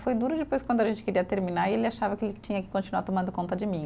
Foi duro depois quando a gente queria terminar e ele achava que ele que tinha que continuar tomando conta de mim.